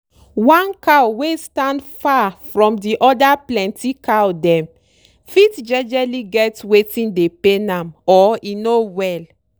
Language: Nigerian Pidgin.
one cow wey stand far from di other plenty cow dem fit jejely get watin dey pain am or e no well.